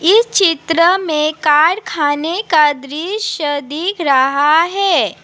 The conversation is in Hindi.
इस चित्र में कारखाने का दृश्य दिख रहा है।